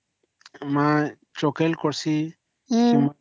ହଁ